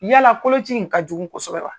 Yala koloci in ka jugu kosɛbɛ wa?